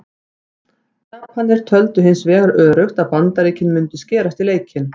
Japanar töldu hins vegar öruggt að Bandaríkin mundu skerast í leikinn.